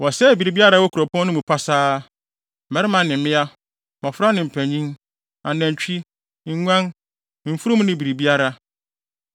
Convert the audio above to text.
Wɔsɛee biribiara a ɛwɔ kuropɔn no mu pasaa, mmarima ne mmea, mmofra ne mpanyin, anantwi, nguan, mfurum ne biribiara.